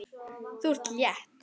Þú ert létt!